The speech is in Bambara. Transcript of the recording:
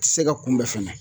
Ti se ka kunbɛ fɛnɛ